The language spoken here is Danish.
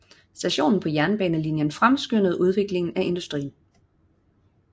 Stationen på jernbanelinjen fremskyndede udviklingen af industrien